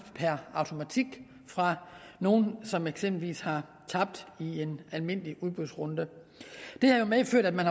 per automatik fra nogen som eksempelvis har tabt i en almindelig udbudsrunde det har medført at man